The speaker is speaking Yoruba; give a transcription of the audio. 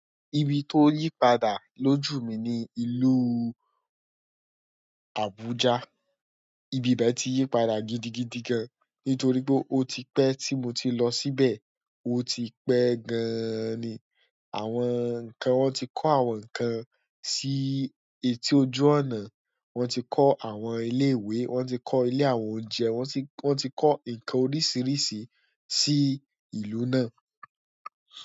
Ibi tó yí padà lójú mi ni ìlú Abuja. Ibi bẹ́ẹ̀ tí yí padà gidigidi gan, nítorí pé ó ti pẹ́ tí mo ti lọ síbẹ̀. Ó ti pẹ́ gan-an ni. Àwọn nǹkan, wọ́n ti kọ́ àwọn nǹkan sí etí ojú ọ̀nà, wọ́n ti kọ́ àwọn ilé ìwé, wọ́n ti kọ́ ilé àwọn oúnjẹ, wọ́n ti, wọ́n ti kọ́ nǹkan oríṣìíríṣìí sí ìlú náà.